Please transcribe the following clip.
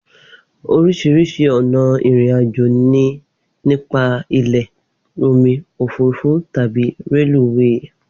Oríṣiríṣi ọ̀nà ìrìn àjò ni nípa ilẹ̀, omi, òfúrufú tàbí reluwé